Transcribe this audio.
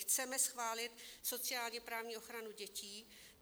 Chceme schválit sociálně-právní ochranu dětí.